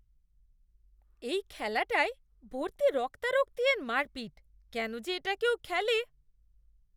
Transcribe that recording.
এই খেলাটায় ভর্তি রক্তারক্তি আর মারপিট। কেন যে এটা কেউ খেলে!